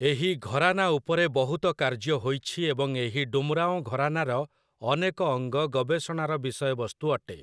ଏହି ଘରାନା ଉପରେ ବହୁତ କାର୍ଯ୍ୟ ହୋଇଛି ଏବଂ ଏହି ଡୁମରାଁଓ ଘରାନାର ଅନେକ ଅଙ୍ଗ ଗବେଷଣାର ବିଷୟବସ୍ତୁ ଅଟେ ।